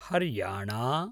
Haryana